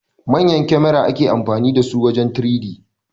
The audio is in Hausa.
Manyan kamera ake amfani dasu wajen 3D